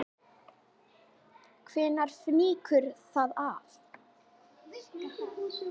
Hvenær fýkur það af?